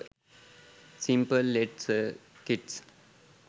simple led circuits